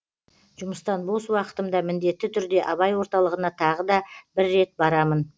жұмыстан бос уақытымда міндетті түрде абай орталығына тағы да бір рет барамын